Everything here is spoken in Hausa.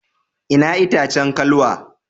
Ina itacen kalwa?